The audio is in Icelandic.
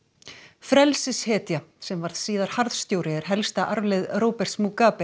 frelsishetja sem varð síðar harðstjóri er helsta arfleifð Roberts